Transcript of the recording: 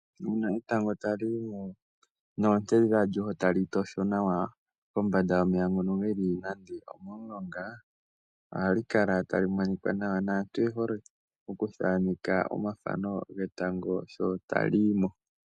Uuna etango tali yimo noonte dhalyo tali tosho nawa kombanda yomeya ngono geli nande omomulonga, ohali kala tali monika nawa, naantu oye hole okuthaaneka omafano getango sho tali yimo.